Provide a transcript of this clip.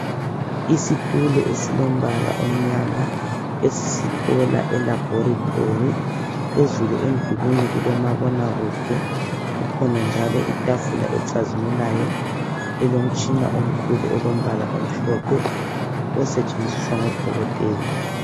Isitulo esilombala omnyama esisithola elaboratory phezulu emdulwini kulomabona kude kukhona njalo itafula ecazimulayo elomtshina omkhulu olombala omhlophe osetshenziswa ngodokotela.